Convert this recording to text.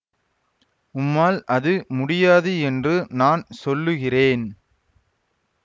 உம்மால் அது முடியாது என்று நான் சொல்லுகிறேன்